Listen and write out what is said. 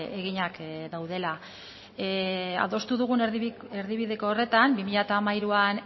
eginak daudela adostu dugun erdibideko horretan bi mila hamairuan